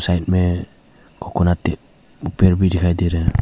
Side में coconut पेड़ भी दिखाई दे रहा है।